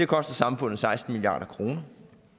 koster samfundet seksten milliard kroner